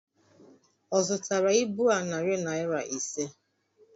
Ọ zụtara ibu a narị naira ise?